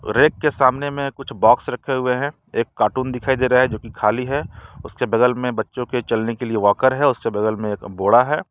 Rack के सामने में कुछ बॉक्स रखे हुए हैं एक कार्टून दिखाई दे रहा है जो कि खाली है उसके बगल में बच्चों के चलने के लिए वॉकर है उसके बगल में एक बोरा है।